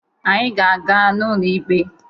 Anyị ga-aga n'ụlọ ikpe.